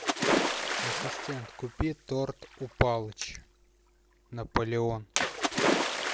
ассистент купи торт у палыча наполеон